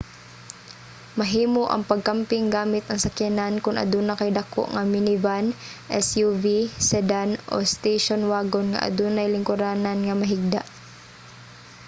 mahimo ang pagkamping gamit ang sakyanan kun aduna kay dako nga minivan suv sedan o station wagon nga adunay lingkuranan nga mahigda